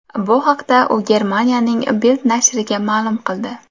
Bu haqda u Germaniyaning Bild nashriga ma’lum qildi .